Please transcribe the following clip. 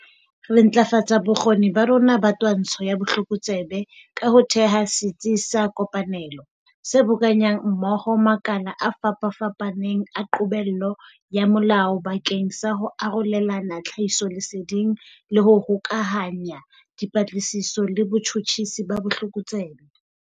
Re ntlafatsa bokgoni ba rona ba twantsho ya botlokotsebe ka ho theha Setsi sa Kopanelo, se boka nyang mmoho makala a fapafapaneng a qobello ya molao bakeng sa ho arolelana tlhahisoleseding le ho hokahanya dipatlisiso le botjhutjhisi ba botlokotsebe.